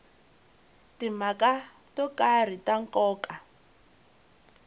timhaka to karhi ta nkoka